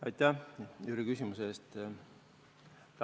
Aitäh selle küsimuse eest!